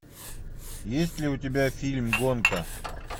есть ли у тебя фильм гонка